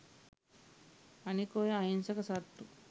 අනික ඔය අහින්සක සත්තු